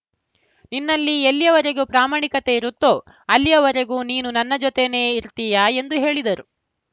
ನಿನ್ನಲ್ಲಿ ಎಲ್ಲಿಯವರೆಗೂ ಪ್ರಾಮಾಣಿಕತೆ ಇರುತ್ತೋ ಅಲ್ಲಿಯವರೆಗೂ ನೀನು ನನ್ನ ಜೊತೆನೇ ಇರ್ತೀಯ ಎಂದು ಹೇಳಿದ್ದರು